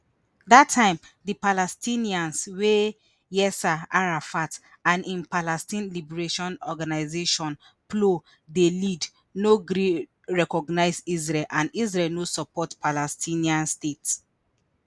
dat time di palestinians wey yasser arafat and im palestine liberation organisation plo dey lead no gree recognize israel and israel no support palestinian state